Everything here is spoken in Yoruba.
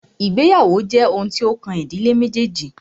Ìgbéyàwó jẹ́ oun tí o kàn ìdílé méjèèjì.